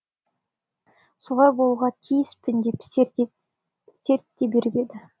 солай болуға тиіспін деп серт те беріп еді